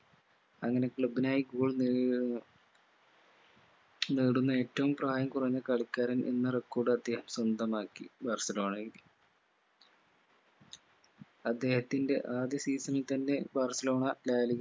അങ്ങനെ club നായി goal ഏർ നേടുന്ന ഏറ്റവും പ്രായം കുറഞ്ഞ കളിക്കാരൻ എന്ന record അദ്ദേഹം സ്വന്തമാക്കി ബാഴ്‌സലോണയിൽ അദ്ദേഹത്തിന്റെ ആദ്യ season ൽ തന്നെ ബാഴ്‌സലോണ ഡാലി